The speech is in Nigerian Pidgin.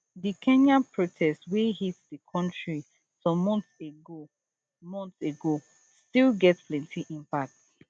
di kenya protest wey hit di country some months ago months ago still get plenti impact